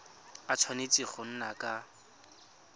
a tshwanetse go nna ka